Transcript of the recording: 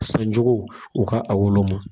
San jugu u ka a wolo ma